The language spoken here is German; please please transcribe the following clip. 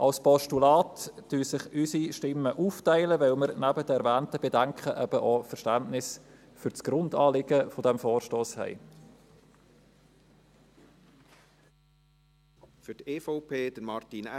Beim Postulat teilen sich unsere Stimmen auf, weil wir neben den erwähnten Bedenken auch Verständnis für das Grundanliegen des Vorstosses haben.